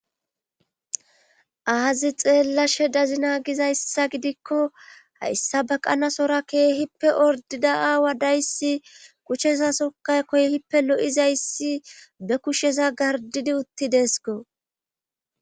Aazi xeellashe dazina gizayssa gidikko hayssa baqanasora keehippe ordida aawa dayssi kuchesasokay koyhippe lo7izayssi be kusheza gardidi uttidesko